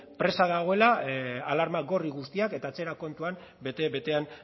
presa dagoela alarma gorri guztiak eta atzera kontuan bete betean